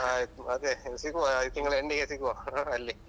ಹಾ ಮತ್ತೆ ಸಿಗುವ ಈ ತಿಂಗ್ಳ end ಗೆ ಸಿಗುವ ಹಾ ಅಲ್ಲಿ.